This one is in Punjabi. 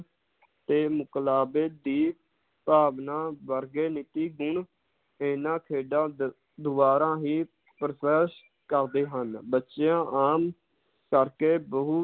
ਤੇ ਮੁਕਲਾਵੇ ਦੀ ਭਾਵਨਾ ਵਰਗੇ ਨਿਜੀ ਗੁਨ ਇਹਨਾਂ ਖੇਡਾਂ ਦ~ ਦਵਾਰਾ ਹੀ ਕਰਦੇ ਹਨ, ਬੱਚਿਆਂ ਆਮ ਕਰਕੇ ਬਹੁ